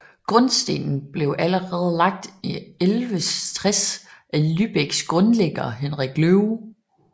Grundstenen blev allerede lagt i 1160 af Lübecks grundlægger Henrik Løve